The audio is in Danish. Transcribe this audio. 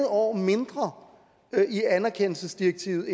år mindre i anerkendelsesdirektivet